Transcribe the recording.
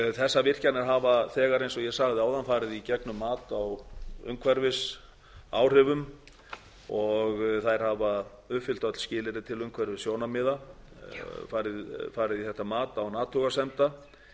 þessar virkjanir hafa þegar eins og ég sagði áðan farið í gegnum mat á umhverfisáhrifum og þær hafa uppfyllt öll skilyrði til umhverfissjónarmiða farið í þetta mat án athugasemda